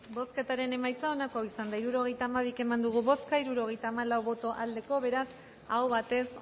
bozketaren emaitza onako izan da hirurogeita hamabi eman dugu bozka hirurogeita hamalau boto aldekoa beraz aho batez